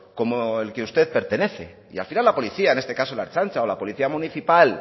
como al que usted pertenece y al final la policía en este caso la ertzaintza o la policía municipal